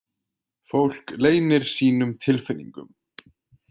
Fólk leynir sínum tilfinningum.